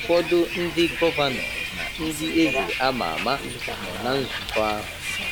Ụfọdụ ndị gọvanọ na ndị eze ama ama nọ na nzụkọ ahụ.